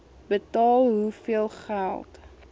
betaal hoeveel geld